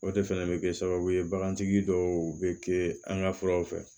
O de fɛnɛ bɛ kɛ sababu ye bagantigi dɔw bɛ kɛ an ka furaw fɛ